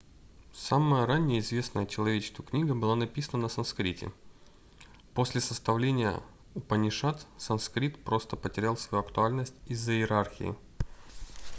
самая ранняя известная человечеству книга была написана на санскрите после составления упанишад санскрит просто потерял свою актуальность из-за иерархии